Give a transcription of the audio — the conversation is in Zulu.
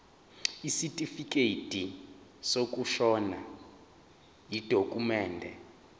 isitifikedi sokushona yidokhumende